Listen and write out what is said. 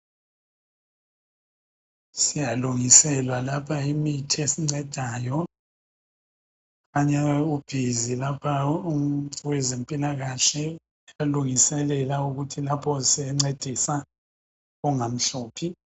Siyalungiselwa lapha imithi esincedayo. Ukhanya ubhizi lapha owezempilakahle uyalungiselela ukuthi lapho esencedisa kungamhluphi.